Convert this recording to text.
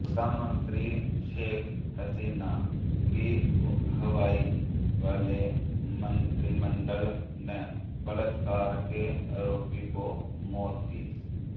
प्रधानमंत्री शेख हसीना की अगुवाई वाले मंत्रिमंडल ने बलात्कार के अपराधी को मौत की